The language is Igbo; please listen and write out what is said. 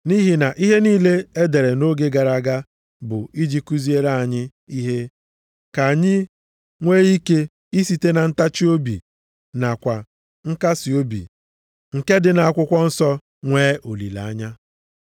Nʼihi na ihe niile edere nʼoge gara aga bụ iji kuziere anyị ihe, ka anyị nwee ike isite na ntachiobi nakwa nkasiobi, nke dị nʼakwụkwọ nsọ nwee olileanya.